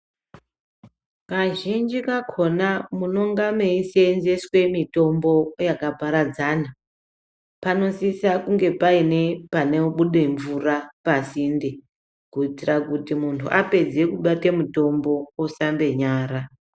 Kazhinji kakona munonga meiseenzeswe mitombo yakaparadzana panosisa kunge paine panobude mvura pasinde kuitira juti munhu apedze kubate mitombo osambe nyara